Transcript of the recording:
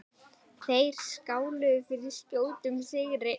Þeir skáluðu fyrir skjótum sigri.